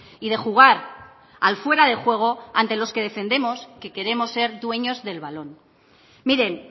y de jugar al fuera de juego ante los que defendemos que queremos ser dueños del balón miren